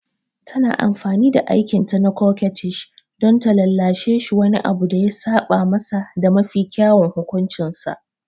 Tana amfani da aikinta na coquettish don lallashe shi wani abu da ya saba masa da mafi kyawun hukuncinsa.